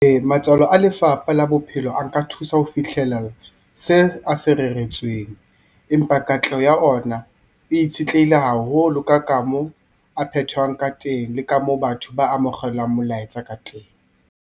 Ee, matswalo a Lefapha la Bophelo a nka thusa ho fihlela se a se reretsweng. Empa katleho ya ona e itshetlehile haholo ka ka mo a phetwang ka teng, le ka mo batho ba amogelang molaetsa ka teng.